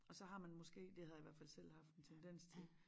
Og så har man måske det havde jeg i hvert fald selv haft en tendens til